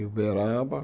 Em Uberaba.